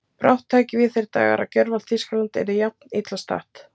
brátt tækju við þeir dagar að gjörvallt Þýskaland yrði jafn illa statt.